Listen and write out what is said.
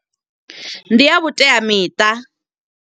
Ndi a vhuteamiṱa.